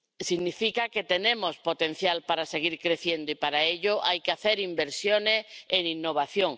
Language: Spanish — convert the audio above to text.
Significa que tenemos potencial para seguir creciendo y, para ello, hay que hacer inversiones en innovación.